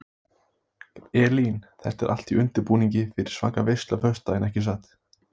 Elín: Þetta er allt í undirbúningi fyrir svaka veislu á föstudaginn ekki satt?